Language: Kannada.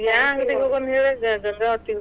ಯಾವ ಅಂಗಡಿಗೆ ಹೋಗೋಣ ಹೇಳಿಗ ಗ~ ಗಂಗಾವತಿಗ.